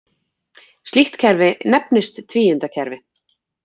Slíkt kerfi nefnist tvíundakerfi.